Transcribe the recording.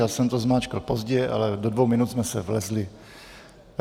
Já jsem to zmáčkl pozdě, ale do dvou minut jsme se vlezli.